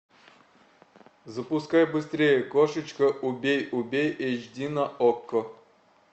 запускай быстрее кошечка убей убей эйч ди на окко